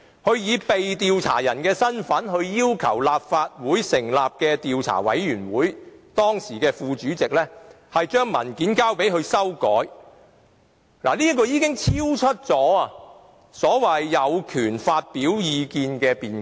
他以被調查者的身份，要求由立法會成立的專責委員會的時任副主席把文件交給他修改，這的做法已超出所謂有權發表意見的辯解。